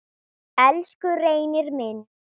Elsku Reynir minn.